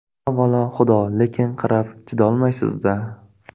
Avvalo, Xudo, lekin qarab chidolmaysiz-da.